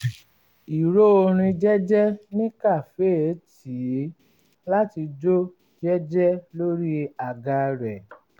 ìró orin jẹ́jẹ́ ní kàféè tì í láti jó jẹ́jẹ́ lórí àga rẹ̀